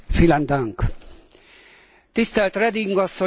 Tisztelt Reding asszony, kedves képviselőtársaim!